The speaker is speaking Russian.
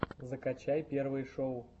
закачай первые шоу